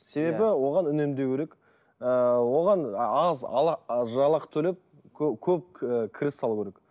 себебі оған үнемдеу керек ыыы оған аз жалақы төлеп көп кіріс алу керек